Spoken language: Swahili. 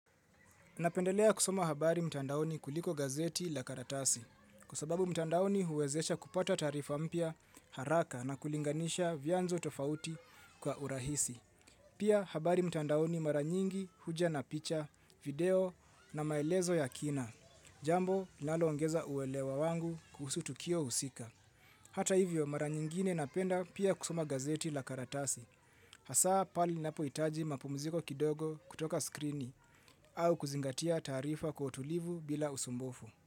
Napendelea kusoma habari mtandaoni kuliko gazeti la karatasi, kwa sababu mtandaoni huwezesha kupata taarifa mpya haraka na kulinganisha vyanzo tofauti kwa urahisi. Pia habari mtandaoni mara nyingi huja na picha, video na maelezo ya kina, jambo linaloongeza uelewa wangu kuhusu tukio husika. Hata hivyo mara nyingine napenda pia kusoma gazeti la karatasi. Hasaa pahali ninapohitaji mapumziko kidogo kutoka skrini au kuzingatia taarifa kwa utulivu bila usumbufu.